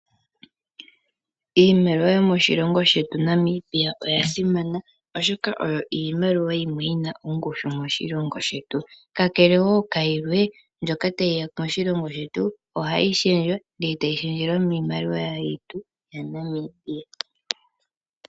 Iimaliwa yomoshilongo shetu Namibia oyasimana, oshoka oyo iimaliwa yimwe yina ongushu moshilongo shetu. Kakele woo kayilwe mbyoka tayiya moshilongo shetu ohayi shendjwa ndeetayi shendjelwa miimaliwa yetu ya Namibia.